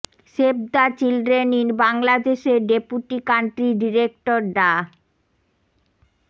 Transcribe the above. save the children in বাংলাদেশের deputy country director ডা